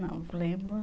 Não lembro.